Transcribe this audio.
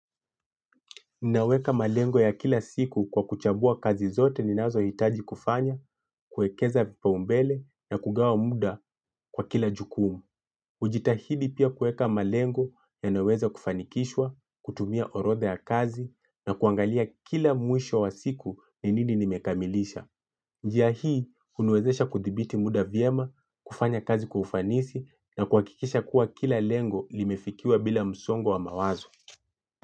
Ninaweka malengo ya kila siku kwa kuchagua kazi zote ninazohitaji kufanya, kuekeza kipaumbele na kugawa muda kwa kila jukumu. Hujitahidi pia kuweka malengo yanyoweza kufanikishwa, kutumia orodha ya kazi na kuangalia kila mwisho wa siku ni nini nimekamilisha. Njia hii huniwezesha kudhibiti muda vyema, kufanya kazi kwa ufanisi na kuhakikisha kuwa kila lengo limefikiwa bila msongo wa mawazo.